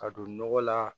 Ka don nɔgɔ la